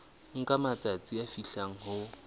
nka matsatsi a fihlang ho